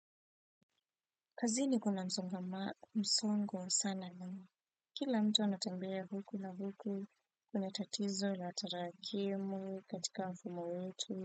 Kazini kuna msongo sana na kila mtu anatembea huku na huku kuna tatizo la tarakimu katika mfumo wetu.